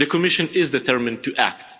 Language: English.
The Commission is determined to act.